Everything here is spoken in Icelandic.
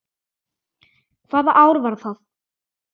Hvaða ár var það?